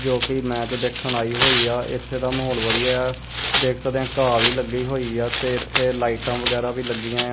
ਜੋ ਕਿ ਮੈਚ ਦੇਖਣ ਆਈ ਹੋਈ ਆ ਇਥੇ ਦਾ ਮਾਹੌਲ ਵਧੀਆ ਦੇਖ ਆ ਸਕਦੇ ਘਾਹ ਵੀ ਲੱਗੀ ਹੋਈ ਆ ਤੇ ਇਥੇ ਲਾਈਟਾਂ ਵਗੈਰਾ ਵੀ ਲੱਗੀਆਂ ਆ।